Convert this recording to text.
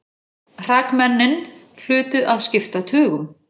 Hrakmennin hlutu að skipta tugum.